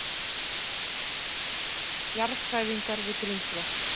Jarðhræringar við Grímsvötn